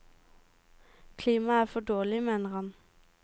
Klimaet er for dårlig, mener han.